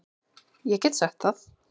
Ég get sagt það.